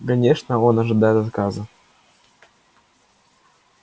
конечно он ожидает отказа